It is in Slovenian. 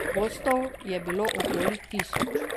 Gostov je bilo okoli tisoč.